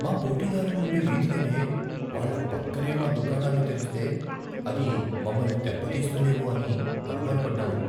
మా పోటీదారులు ఉండే వీధిలోనే వాళ్ళ పక్కనే మా దుకాణాన్ని తెరిస్తే, అది మమ్మల్ని దేబ్బతీస్తుందేమో అని అనుమానపడ్డాను.